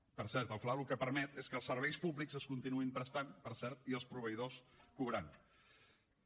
per cert el fla el que permet és que els serveis públics es continuïn prestant per cert i els proveïdors cobrant